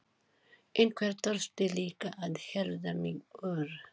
Einhver þurfti líka að hirða mig úr